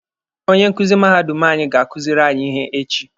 Onye nkuzi mahadum anyị ga-akuziri anyị ihe echi.